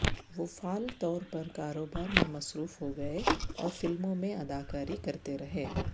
وہ فعال طور پر کاروبار میں مصروف ہوگئے اور فلموں میں اداکاری کرتے رہے